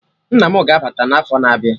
Nna mụ ga-abata n'afọ na-abịa